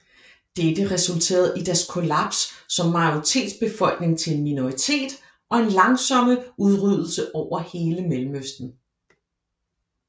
Dette resulterede i deres kollaps som majoritetsbefolkning til en minoritet og en langsomme udryddelse over hele Mellemøsten